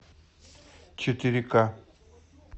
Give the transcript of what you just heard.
четыре ка